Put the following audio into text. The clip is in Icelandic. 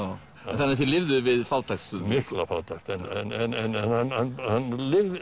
þannig að þið við fátækt stundum mikla fátækt en hann